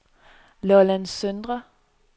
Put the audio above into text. Lolland Søndre